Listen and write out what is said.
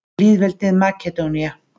Lýðveldið Makedónía